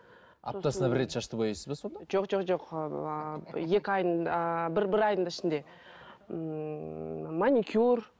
аптасына бір рет шашты боясыз ба сонда жоқ жоқ жоқ ыыы екі айдын ааа бір бір айдың ішінде ммм маникюр